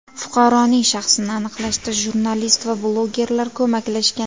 Fuqaroning shaxsini aniqlashda jurnalist va blogerlar ko‘maklashgan.